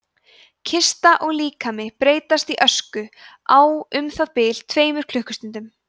kista og líkami breytast í ösku á um það bil tveimur klukkustundum